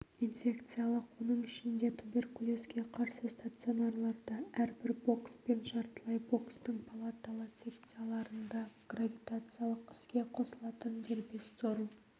инфекциялық оның ішінде туберкулезге қарсы стационарларда әрбір бокс пен жартылай бокстың палаталы секцияларында гравитациялық іске қосылатын дербес сору